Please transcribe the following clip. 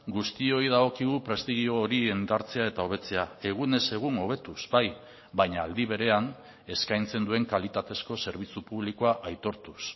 guztioi dagokigu prestigio hori indartzea eta hobetzea egunez egun hobetuz bai baina aldi berean eskaintzen duen kalitatezko zerbitzu publikoa aitortuz